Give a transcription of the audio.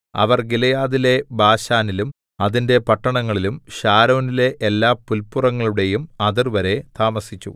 അവർ ഗിലെയാദിലെ ബാശാനിലും അതിന്റെ പട്ടണങ്ങളിലും ശാരോനിലെ എല്ലാപുല്പുറങ്ങളുടെയും അതിർവരെ താമസിച്ചു